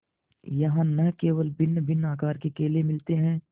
यहाँ न केवल भिन्नभिन्न आकार के केले मिलते हैं